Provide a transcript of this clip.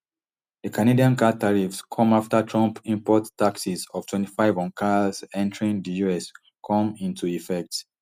di canadian car tariffs come afta trump import taxes of twenty-five on cars entering di us come into effect